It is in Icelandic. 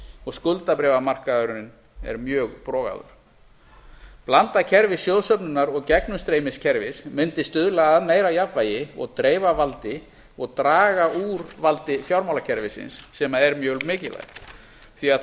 og skuldabréfamarkaðurinn er mjög brogaður blandað kerfi sjóðsöfnunar og gegnumstreymiskerfis mundi stuðla að meira jafnvægi og dreifa valdi og draga úr valdi fjármálakerfisins sem er mjög mikilvægt því að